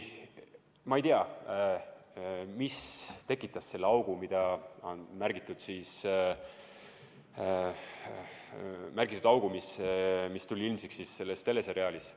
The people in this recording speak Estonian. Ma ei tea, mis tekitas augu, mis tuli ilmsiks selles teleseriaalis.